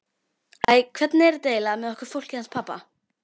Æ, hvernig er þetta eiginlega með okkur fólkið hans pabba?